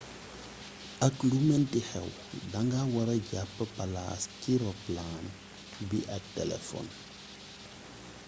ak lu meenti xéw danga wara jap palas ci ropalaan bi ak téléfon